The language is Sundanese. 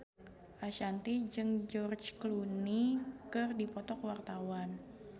Ashanti jeung George Clooney keur dipoto ku wartawan